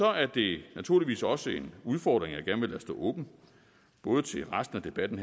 er det naturligvis også en udfordring jeg gerne vil lade stå åben både til resten af debatten